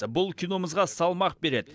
бұл киномызға салмақ береді